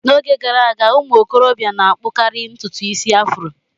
N'oge gara aga ụmụ okorobịa na-akpukari ntutu isi afro.